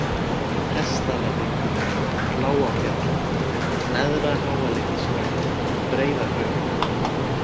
Hestdalahryggur, Lágafjall, Neðra-Háaleitishraun, Breiðahraun